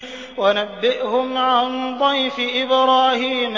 وَنَبِّئْهُمْ عَن ضَيْفِ إِبْرَاهِيمَ